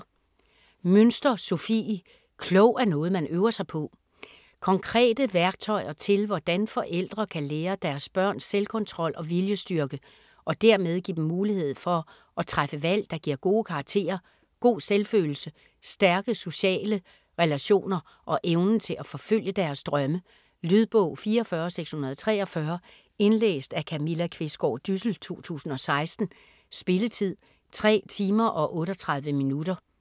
Münster, Sofie: Klog er noget, man øver sig på Konkrete værktøjer til hvordan forældre kan lære deres børn selvkontrol og viljestyrke, og dermed give dem mulighed for træffe valg der giver gode karakterer, god selvfølelse, stærke sociale relationer og evnen til at forfølge deres drømme. Lydbog 44643 Indlæst af Camilla Qvistgaard Dyssel, 2016. Spilletid: 3 timer, 38 minutter.